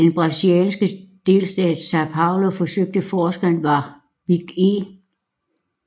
I den brasilianske delstat São Paulo forsøgte forskeren Warwick E